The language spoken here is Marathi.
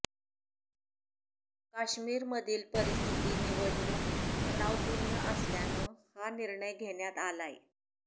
काश्मीरमधली परिस्थिती निवडणूक तणावपूर्ण असल्यानं हा निर्णय घेण्यात आलाय